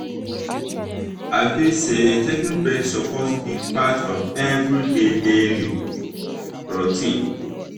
i feel say taking breaks suppose be part of everybody daily routine.